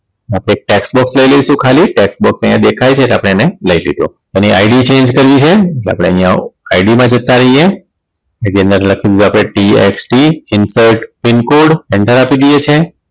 આપણે એક tax box લઈ લઈશું ખાલી tax box અહીંયા દેખાય છે એટલે આપણે એને લઈ લીધું એની IDchange કરવી છે એટલે આપણે અહીંયા ID મા જતા રહીએ એની અંદર લખી દીધું આપણે TXT insert pincode enter આપી દઈએ છીએ